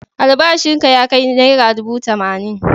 Albashinka ya kai naira dubu tamanin.